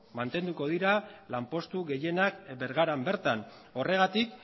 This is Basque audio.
mantenduko dira lanpostu gehienak bergaran bertan horregatik